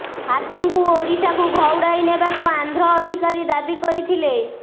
ହାତୀଙ୍କୁ ଓଡ଼ିଶାକୁ ଘଉଡ଼ାଇ ନେବାକୁ ଆନ୍ଧ୍ର ଅଧିକାରୀ ଦାବି କରିଥିଲେ